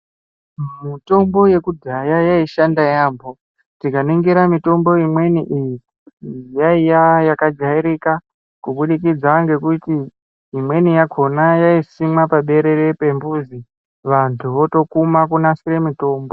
Mitombo yekudhaya yaishanda yambo tikaningira mitombo imweni iyi yaiva yakajairika kubudikidza nekuti imweni yakona yaisimwa paberere pemuzi vantu votokuma vonasire mutombo.